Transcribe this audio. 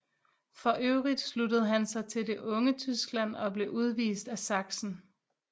For øvrigt sluttede han sig til Det unge Tyskland og blev udvist af Sachsen